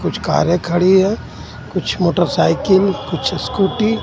कुछ कारे खड़ी है कुछ मोटरसाइकल कुछ स्कूटी